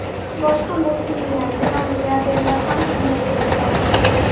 Boshqa multimillioner va milliarderlar ham shunday yo‘l tutadi.